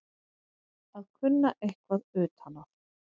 Að kunna eitthvað utan að